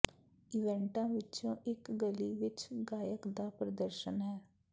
ਇਵੈਂਟਾਂ ਵਿਚੋਂ ਇਕ ਗਲੀ ਵਿਚ ਗਾਇਕ ਦਾ ਪ੍ਰਦਰਸ਼ਨ ਹੈ